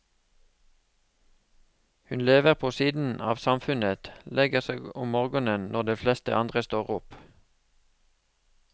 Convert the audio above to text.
Hun lever på siden av samfunnet, legger seg om morgenen når de fleste andre står opp.